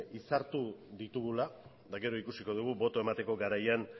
hitzartu ditugula eta gero ikusiko dugu botoa emateko garaian